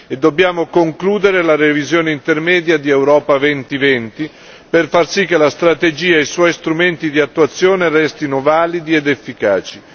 E dobbiamo concludere la revisione intermedia di Europa 2020 per far sì che la strategia e i suoi strumenti di attuazione restino validi ed efficaci.